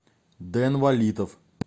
дэн валитов